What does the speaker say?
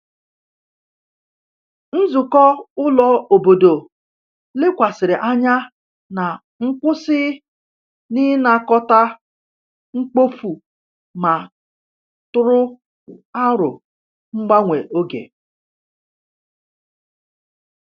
Nzukọ ụlọ obodo lekwasịrị anya na nkwụsị n’ịnakọta mkpofu ma tụrụ aro mgbanwe oge.